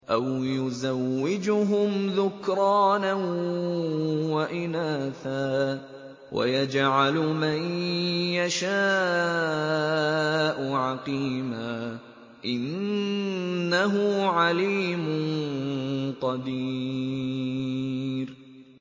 أَوْ يُزَوِّجُهُمْ ذُكْرَانًا وَإِنَاثًا ۖ وَيَجْعَلُ مَن يَشَاءُ عَقِيمًا ۚ إِنَّهُ عَلِيمٌ قَدِيرٌ